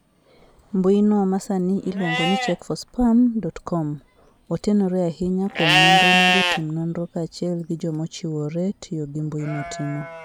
mbuino ma sani iluongo ni check4spam.com, otenore ahinya kuom nonro ma jotim nonro kaachiel gi joma ochiwore tiyo gimbuino timo.